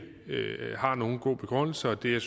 er nogen god begrundelse det er